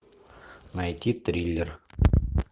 найти триллер